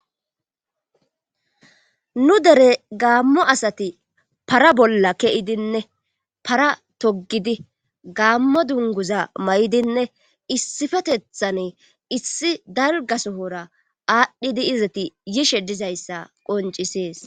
Nu dere gaammo asati para bolla ke7idinne para toggidi gaammo dunguza mayidinne issifetethane issi dalgasohora aadhdhidi izati yishe dizayssa qoncisees.